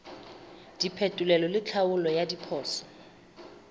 diphetolelo le tlhaolo ya diphoso